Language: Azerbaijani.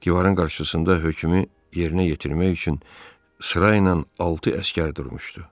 Divarın qarşısında hökmü yerinə yetirmək üçün sırayla altı əsgər durmuşdu.